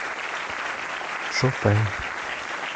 шопен